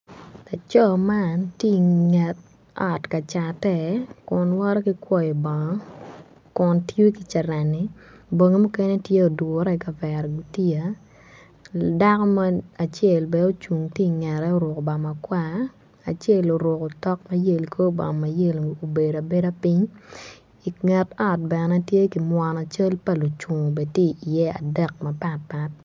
Laco man tye i nge tot me cate bongi mukene tye i gutiya i get ot bene tye ki mwono cel lucungu adek mapatpat.